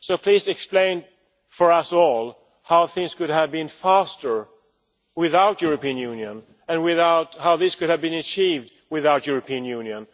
So please explain for us all how things could have been faster without the European Union and how this could have been achieved without the European Union.